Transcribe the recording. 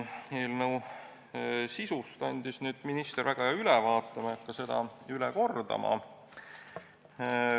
Eelnõu sisust andis minister siin väga hea ülevaate, ma ei hakka seda üle kordama.